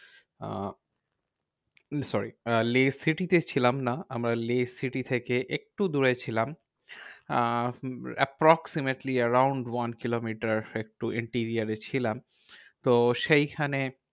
আহ sorry Leh city তে ছিলাম না। আমরা লেহ city থেকে একটু দূরে ছিলাম আহ approximately around one কিলোমিটার ছিলাম। তো সেইখানে